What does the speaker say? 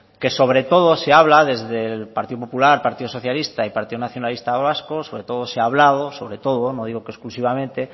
que sobre todo se habla desde el partido popular partido socialista y partido nacionalista vasco sobre todo se ha hablado no digo que exclusivamente